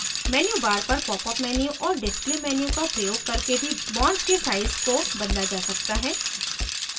menu bar पर popअप menu और display menu का प्रयोग करके भी bonds के size को बदला जा सकता है